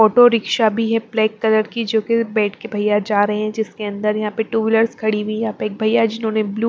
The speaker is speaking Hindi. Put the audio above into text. ऑटो रिक्शा भी है ब्लैक कलर की जो कि बैठ के भैया जा रहे हैं जिसके अंदर यहां पे टू व्हीलर्स खड़ी हुई यहां पे एक भैया जिन्होंने---